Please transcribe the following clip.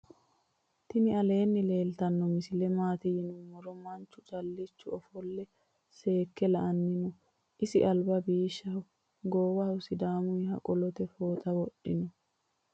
tini aleni leltano misile maati yinumoro manchu caalichi ofole seeke la"anni noo. isi alba bishoaho gowaho sidamuyiha qolote fooxa wodhinno.